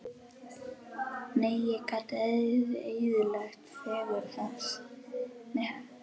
Nei, ég gat ekki eyðilagt fegurð hans.